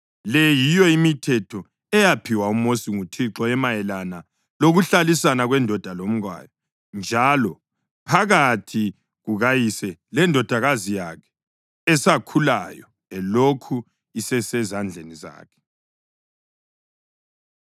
Le yiyo imithetho eyaphiwa uMosi nguThixo emayelana lokuhlalisana kwendoda lomkayo, njalo phakathi kukayise lendodakazi yakhe esakhulayo elokhu isesezandleni zakhe.